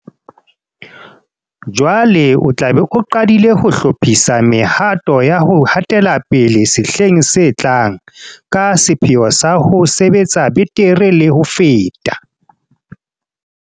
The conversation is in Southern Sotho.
Jwale o tla be o qadile ho hlophisa mehato ya ho hatela pele sehleng se tlang, ka sepheo sa ho sebetsa betere le ho feta.